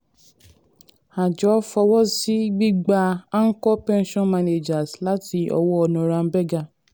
àjọ fọwọ́sí gbígba anchor pension managers láti ọwọ́ norrenberger